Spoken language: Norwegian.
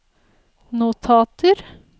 notater